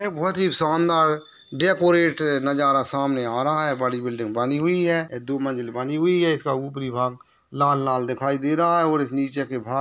बहुत ही सूंदर डेकोरेट नजारा सामने आ रहा है बड़ी बिल्डिंग बनी हुए है दो मंजिल बनी हुए है इसका उपरी भाग लाल लाल दिखाए दे रहा हैऔर इस नीचे के भा--